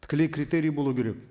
тікелей критерий болу керек